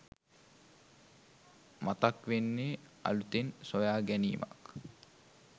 මතක් වෙන්නේ අලුතෙන් සොයා ගැනීමක්